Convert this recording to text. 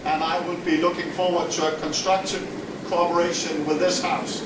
I will be looking forward to constructive cooperation with this House.